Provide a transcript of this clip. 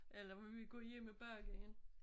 Ellers må vi gå hjem og bage en